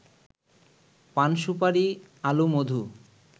পান-সুপারি, আলু, মধু